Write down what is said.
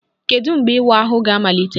Kedu mgbe ịwa ahụ ga-amalite?